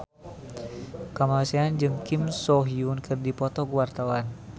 Kamasean jeung Kim So Hyun keur dipoto ku wartawan